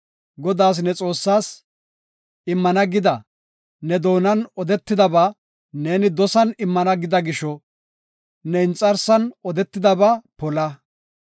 Godaas ne Xoossaas, immana gida ne doonan odetidaba neeni dosan immana gida gisho, ne inxarsan odetidaba pola.